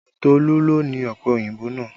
Tolu ló ni ọpẹ òyìnbó náà